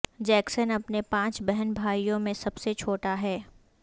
Jackson اپنے پانچ بہن بھائیوں میں سب سے چھوٹا ہے